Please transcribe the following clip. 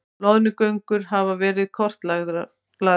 Loðnugöngur hafa verið kortlagðar